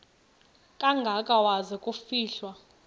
kangaka waza kufihlwa